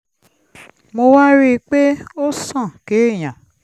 mo wá rí i pé ó sàn kéèyàn